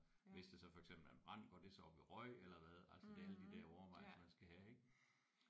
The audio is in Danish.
Hvis det så for eksempel er en brand går det så op i røg eller hvad altså det er alle de der overvejelser man skal have ik